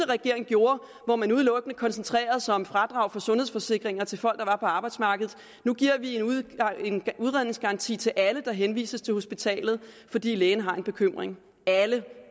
regering gjorde hvor man udelukkende koncentrerede sig om fradrag for sundhedsforsikringer til folk der var på arbejdsmarkedet nu giver vi en udredningsgaranti til alle der henvises til hospitalet fordi lægen har en bekymring alle